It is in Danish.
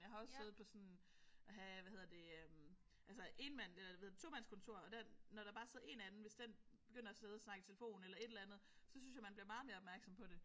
Jeg har også siddet på sådan ah hvad hedder det øh altså énmand eller hvad hedder det tomandskontor og hvis der bare sidder 1 anden hvis den begynder at sidde og snakke i telefon eller et eller andet så synes jeg man bliver meget mere opmærksom på det